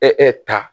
ta